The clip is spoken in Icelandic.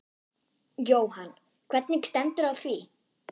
Jóhann: Hvernig stendur á því?